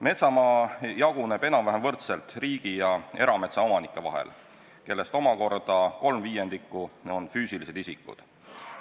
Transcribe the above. Metsamaa jaguneb enam-vähem võrdselt riigi ja erametsaomanike vahel, kellest omakorda 3/5 on füüsilised isikud.